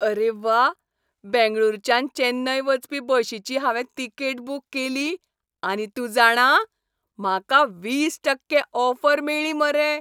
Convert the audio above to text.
आरे व्वा! बेंगळुरच्यान चेन्नय वचपी बशीची हांवें तिकेट बूक केली, आनी तूं जाणा, म्हाका वीस टक्के ऑफर मेळ्ळी मरे.